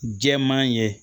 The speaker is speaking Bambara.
Jɛman ye